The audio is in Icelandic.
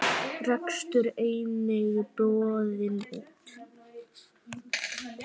Rekstur einnig boðinn út.